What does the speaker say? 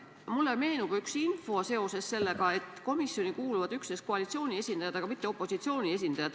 Mulle meenub aga seoses sellega, et komisjoni kuuluvad justkui üksnes koalitsiooni esindajad, mitte opositsiooni esindajad.